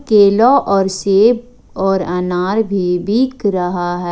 केला और सेब और अनार भी बिक रहा है।